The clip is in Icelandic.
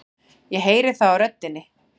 Ég heyri það á röddinni.